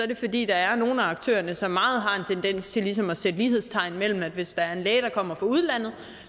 det fordi der er nogle af aktørerne som meget har en tendens til ligesom at sætte lighedstegn mellem at hvis der er en læge der kommer fra udlandet